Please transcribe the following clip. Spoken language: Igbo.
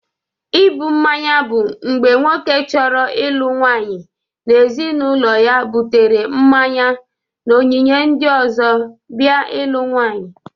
Ịbụ mmanya bụ mgbe nwoke chọrọ ịlụ nwaanyị na ezinaụlọ ya bụtere mmanye na onyinye ndị ọzọ bia ịlụ nwaanyị.